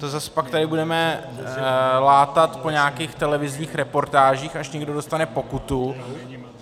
To zase pak tady budeme látat po nějakých televizních reportážích, až někdo dostane pokutu.